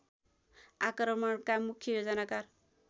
आक्रमणका मुख्य योजनाकार